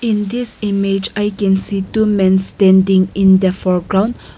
in this image i can see two mens standing in the foreground.